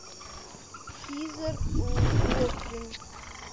хизер локлир